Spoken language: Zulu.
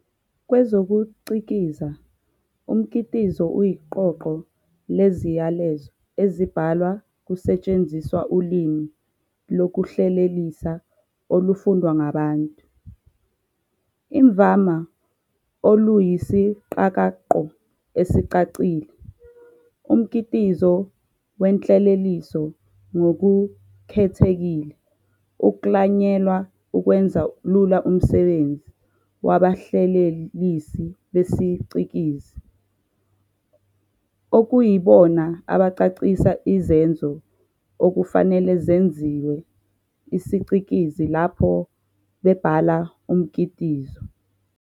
Kwezokucikiza, umkitizo uyiqoqo leziyalezo ezibhalwa kusetshenziswa ulimi lokuhlelelisa olufundwa ngabantu, imvama oluyisiqakaqo esicacile. Umkitizo wenhleleliso ngokukhethekile uklanyelwe ukwenza lula umsebenzi wabahlelelisi besicikizi, okuyibona abacacisa izenzo okufanele zenziwe isicikizi lapho bebhala umkitizo.